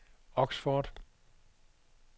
Oxford